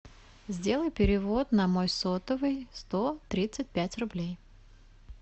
сделай перевод на мой сотовый сто тридцать пять рублей